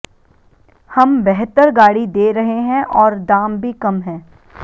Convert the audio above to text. हम बेहतर गाड़ी दे रहे हैं और दाम भी कम हैं